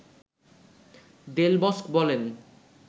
দেল Bosque বলেন